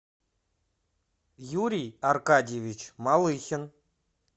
юрий аркадьевич малыхин